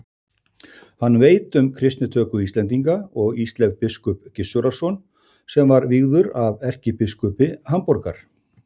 Hann veit um kristnitöku Íslendinga og Ísleif biskup Gissurarson sem var vígður af erkibiskupi Hamborgar.